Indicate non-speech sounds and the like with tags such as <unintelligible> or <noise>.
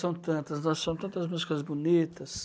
São tantas, <unintelligible> são tantas músicas bonitas.